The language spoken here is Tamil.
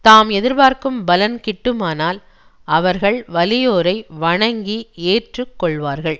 தாம் எதிர்பார்க்கும் பலன் கிட்டுமானால் அவர்கள் வலியோரை வணங்கி ஏற்று கொள்வார்கள்